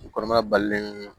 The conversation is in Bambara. U kɔnɔmaya balilen don